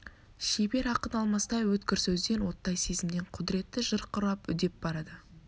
шебер ақын алмастай өткір сөзден оттай сезімнен құдіретті жыр құрап үдеп барады